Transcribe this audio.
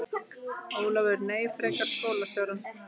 Ólafur: Nei, frekar skólastjórann.